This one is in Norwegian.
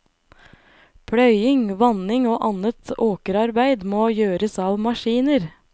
Pløying, vanning og annet åkerarbeid må gjøres av maskiner.